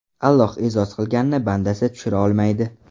Alloh e’zoz qilganni bandasi tushira olmaydi.